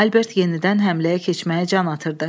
Albert yenidən həmləyə keçməyə can atırdı.